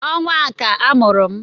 Ọnwa a ka a mụrụ m